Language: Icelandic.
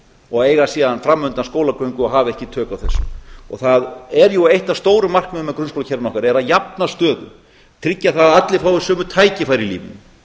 og eiga síðan fram undan skólagöngu og hafa ekki tök á þessu það er jú eitt af stóru markmiðunum með grunnskólakerfinu okkar að jafna stöðu tryggja það að allir fái sömu tækifæri í lífinu